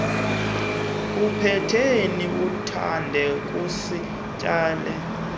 upeteni uthande kuzitsalela